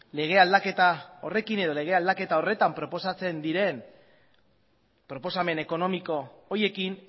lege aldaketa horretan proposatzen diren proposamen ekonomiko horiekin